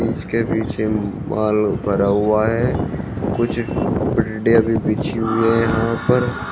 इसके पीछे माल भरा हुआ है कुछ भी बिछी हुई है यहां पर।